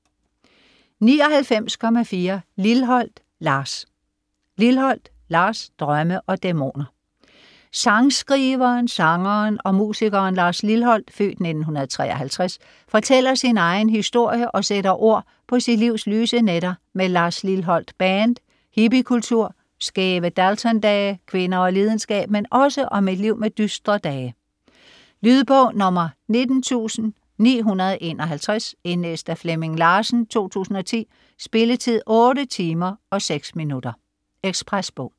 99.4 Lilholt, Lars Lilholt, Lars: Drømme og dæmoner Sangskriveren, sangeren og musikeren Lars Lilholt (f. 1953) fortæller sin egen historie og sætter ord på sit livs lyse nætter med Lars Lilholt Band, hippiekultur, skæve Dalton-dage, kvinder og lidenskab, men også om et liv med dystre dage. Lydbog 19951 Indlæst af Flemming Larsen, 2010. Spilletid: 8 timer, 6 minutter. Ekspresbog